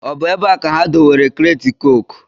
Ọ bụ ebe a ka ha dewere kreeti cooku?